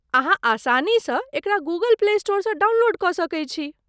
अहाँ आसानीसँ एकरा गूगल प्ले स्टोरसँ डाउनलोड कऽ सकैत छी।